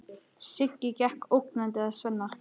Siggi gekk ógnandi að Svenna.